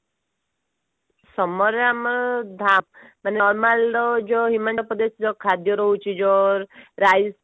summer ରେ ଆମର normal ତ ଯୋଉ ହିମାଚଳପ୍ରଦେଶ ର ଖାଦ୍ଯ ରହୁଛି ଯୋଉ rice